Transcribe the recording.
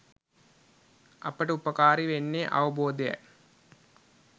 අපට උපකාරී වෙන්නේ අවබෝධයයි